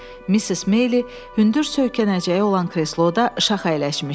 Misses Maylie hündür söykənəcəyi olan kresloda şax əyləşmişdi.